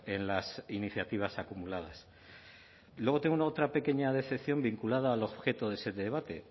en las iniciativas acumulados y luego tengo otra pequeña decepción vinculada al objeto de ese debate